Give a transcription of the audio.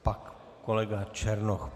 Pak kolega Černoch.